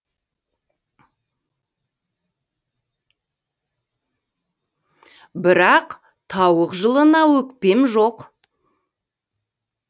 бірақ тауық жылына өкпем жоқ